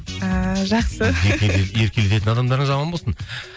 ыыы жақсы еркелететін адамдарыңыз аман болсын